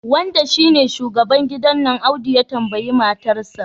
wanda shine shugaban gidan nan Audu ya tambayi matarsa